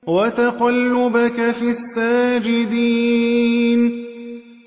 وَتَقَلُّبَكَ فِي السَّاجِدِينَ